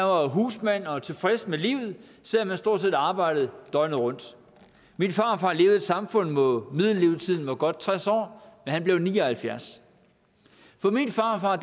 var husmand og tilfreds med livet selv om han stort set arbejdede døgnet rundt min farfar levede samfund hvor middellevetiden var godt tres år men han blev ni og halvfjerds for min farfar